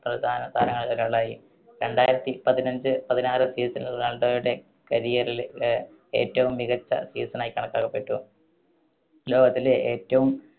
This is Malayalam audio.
പ്രധാനതാരങ്ങളിൽ ഒരാളായി. രണ്ടായിരത്തി പതിനഞ്ച് പതിനാറ് season റൊണാൾഡോയുടെ career ലെ ഏ~ഏറ്റവും മികച്ച season യി കണക്കാക്കപ്പെട്ടു. ലോകത്തിലെ ഏറ്റവും